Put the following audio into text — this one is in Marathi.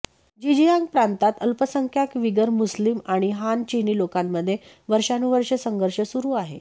झिंजियांग प्रांतात अल्पसंख्याक विगर मुस्लीम आणि हान चिनी लोकांमध्ये वर्षानुवर्षं संघर्ष सुरू आहे